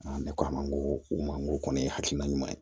Ne ko a ma n ko u ma ko kɔni hakilina ɲuman ye